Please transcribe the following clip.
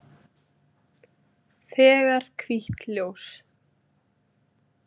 Þegar hvítt ljós.